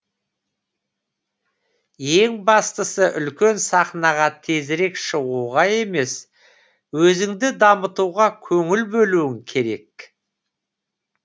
ең бастысы үлкен сахнаға тезірек шығуға емес өзіңді дамытуға көңіл бөлуің керек